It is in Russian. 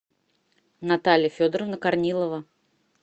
наталья федоровна корнилова